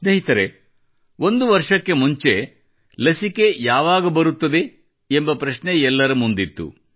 ಸ್ನೇಹಿತರೇ ಒಂದು ವರ್ಷಕ್ಕೆ ಮುನ್ನ ಲಸಿಕೆ ಯಾವಾಗ ಬರುತ್ತದೆ ಎಂಬ ಪ್ರಶ್ನೆ ಎಲ್ಲರ ಮುಂದಿತ್ತು